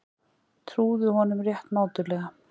Trúðu honum rétt mátulega.